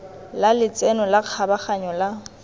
la letseno la kgabaganyo la